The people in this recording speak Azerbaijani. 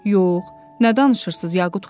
Yox, nə danışırsınız, Yaqut xanım?